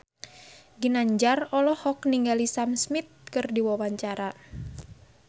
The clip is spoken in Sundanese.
Ginanjar olohok ningali Sam Smith keur diwawancara